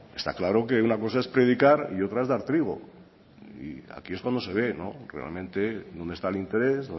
está claro que una cosa es predicar y otra es dar trigo y aquí es cuando se ve realmente dónde está en interés